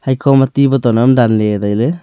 haikhoma ti boton am danley tailey.